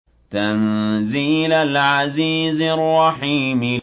تَنزِيلَ الْعَزِيزِ الرَّحِيمِ